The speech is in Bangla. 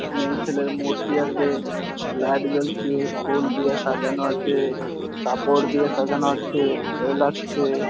মেয়ে ছেলের মূর্তি আছে লাইট জ্বলছে ফুল দিয়ে সাজানো আছে কাপড় দিয়ে সাজানো আছে ভালো লাগছে।